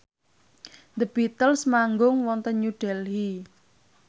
The Beatles manggung wonten New Delhi